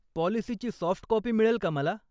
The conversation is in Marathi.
पॉलिसीची सॉफ्ट कॉपी मिळेल का मला?